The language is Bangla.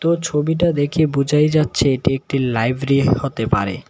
ও ছবিটা দেখে বুঝাই যাচ্ছে এটি একটি লাইব্রেরী হতে পারে।